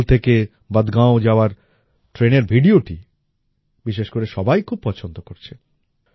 বনিহাল থাকে বদগাম যাওয়ার ট্রেনের ভিডিওটি বিশেষ করে সবাই খুব পছন্দ করছে